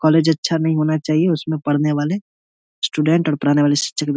college अच्छा नहीं होना चाहिए उसमें पढ़ने वाले स्टूडेंट और पढ़ाने वाले शिक्षक भी --